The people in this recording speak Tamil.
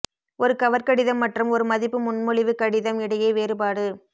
ஒரு கவர் கடிதம் மற்றும் ஒரு மதிப்பு முன்மொழிவு கடிதம் இடையே வேறுபாடு